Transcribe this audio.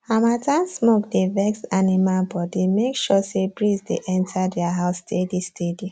harmattan smoke dey vex animal bodymake sure say breeze dey enter their house steadysteady